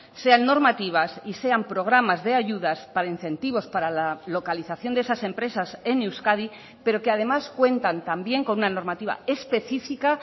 sean normativas y sean programas de ayudas para incentivos para la localización de esas empresas en euskadi pero que además cuentan también con una normativa específica